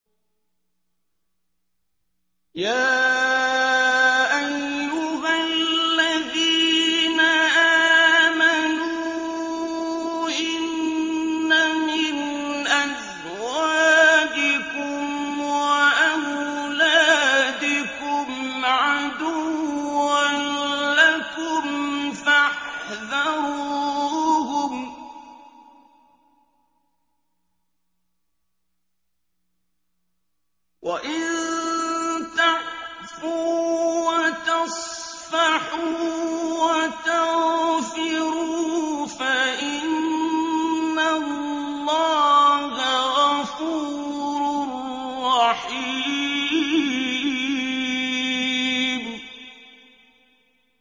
يَا أَيُّهَا الَّذِينَ آمَنُوا إِنَّ مِنْ أَزْوَاجِكُمْ وَأَوْلَادِكُمْ عَدُوًّا لَّكُمْ فَاحْذَرُوهُمْ ۚ وَإِن تَعْفُوا وَتَصْفَحُوا وَتَغْفِرُوا فَإِنَّ اللَّهَ غَفُورٌ رَّحِيمٌ